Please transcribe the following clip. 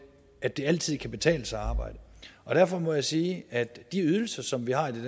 at det altid kan betale sig at arbejde og derfor må jeg sige at de ydelser som vi har i